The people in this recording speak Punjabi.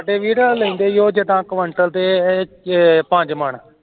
ਤੇ ਵੀਰ ਓ ਲੈਂਦੇ ਈ ਜਿਦਾਂ quintal ਤੇ ਛੇ ਪੰਜ ਮੰਨ